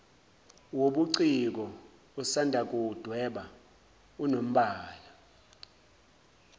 wobuciko osandakuwudweba unombala